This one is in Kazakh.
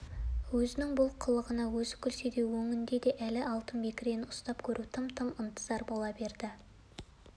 ал едіге үкібаланың бұл түсіне кәдімгідей мән беріп өңінде де ұмыта алмағанын ескеріп мұны бір нышанға жорыды